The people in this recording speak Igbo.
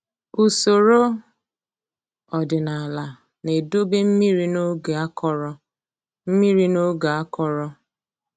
Usoro ọdịnaala na-edobe mmiri n'oge akọrọ mmiri n'oge akọrọ